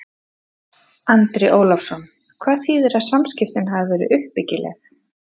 Andri Ólafsson: Hvað þýðir að samskiptin hafi verið uppbyggileg?